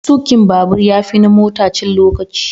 Tukin babur ya fi na mota cin lokaci.